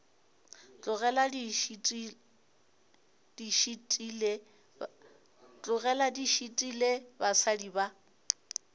tlogele di šitile basadi ba